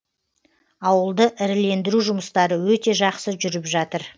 ауылды ірілендіру жұмыстары өте жақсы жүріп жатыр